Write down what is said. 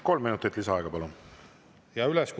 Kolm minutit lisaaega, palun!